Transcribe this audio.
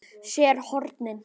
SÉR HORNIN.